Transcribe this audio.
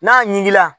N'a ɲiginna